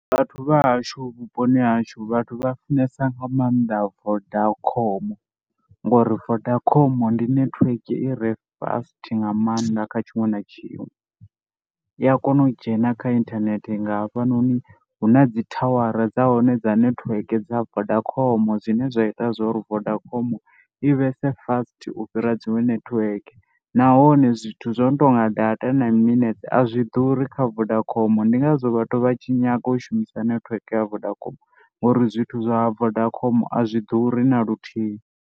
Vhathu vha hashu vhuponi ha hashu vhathu vha funesa nga maanḓa Vodacom ngori Vodacom ndi netiweke i re fast nga maanḓa kha tshiṅwe na tshiṅwe. I ya kona u dzhena kha inthanethe nga hafhanoni hu na dzi thawara dza hone dza netiweke dza Vodacom zwine zwa ita zwo ri Vodacom i vhe se fast u fhira dziṅwe netiweke nahone zwithu zwo no tou nga data na miminetse a zwi ḓuri kha Vodacom ndi ngazwo vhathu vha tshi nyaga u shumisa netiweke ya Vodacom ngori zwithu zwa Vodacom a zwi ḓuri na luthihi.